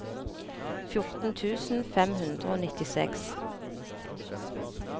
fjorten tusen fem hundre og nittiseks